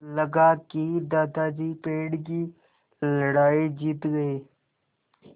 लगा कि दादाजी पेड़ की लड़ाई जीत गए